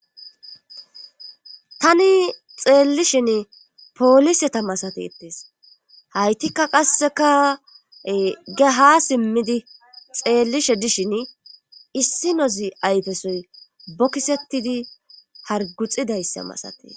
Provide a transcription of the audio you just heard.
tani xeellishin pooliseta masatetees haytikka qasseka geha simmidi xeellishe dishin issi nozi ayfesoy bokisettidi harguxidayssa masatee